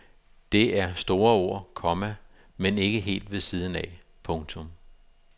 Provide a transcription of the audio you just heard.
Det er store ord, komma men ikke helt ved siden af. punktum